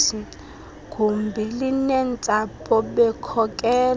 gumbi linentsapho bekhokelwe